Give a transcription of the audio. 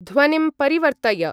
ध्वनिं परिवर्तय।